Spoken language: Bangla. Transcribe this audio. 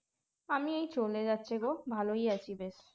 আমি এই চলে যাচ্ছে গো ভালোই আছি বেশ